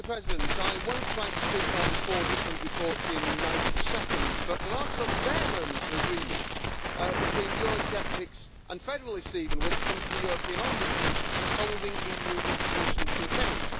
Mr President, I won't try to speak on four different reports in 90 seconds, but there are some rare moments of agreement between eurosceptics and federalists even, when it comes to the European Ombudsman and holding EU institutions to account.